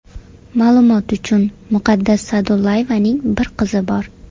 Ma’lumot uchun, Muqaddas Sa’dullayevaning bir qizi bor .